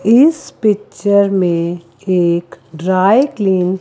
इस पिक्चर में एक ड्राई क्लिन